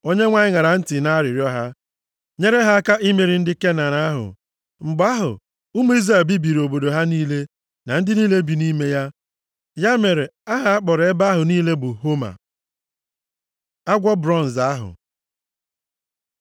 Onyenwe anyị ṅara ntị nʼarịrịọ ha, nyere ha aka imeri ndị Kenan ahụ. Mgbe ahụ, ụmụ Izrel bibiri obodo ha niile, na ndị niile bi nʼime ya. Ya mere, aha a kpọrọ ebe ahụ niile bụ Homa. Agwọ Bronz Ahụ